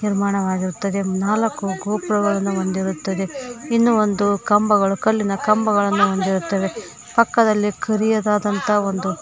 ನಿರ್ಮಾಣವಾಗಿರುತ್ತದೆ ನಾಲಕ್ಕು ಗೋಪುರಗಳನ್ನು ಹೊಂದಿರುತ್ತದೆ ಇನ್ನು ಒಂದು ಕಂಬಗಳು ಕಲ್ಲಿನ ಕಂಬಗಳನ್ನು ಹೊಂದಿರುತ್ತವೆ ಪಕ್ಕದಲ್ಲಿ ಕರಿಯದಾದಂತಹ ಒಂದು--